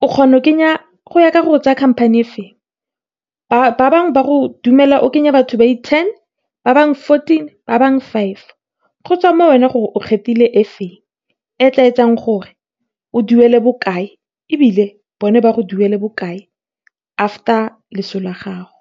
go ya ka gore o tsaya company efeng. Ba bangwe ba go dumela o kenye batho ba le ten, ba bangwe fourteen, ba bangwe five go tswa mo go wena, gore o kgethile efeng e tla etsang gore o duele bokae, ebile bone batla go duela bokae after loso la gago.